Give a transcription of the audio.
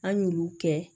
An y'olu kɛ